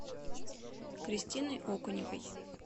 кристиной окуневой